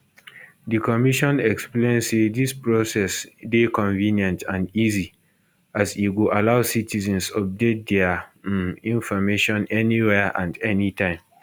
di commission explain say dis process dey convenient and easy as e go allow citizens update dia um information anywhere and anytime